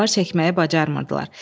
Avar çəkməyi bacarmırdılar.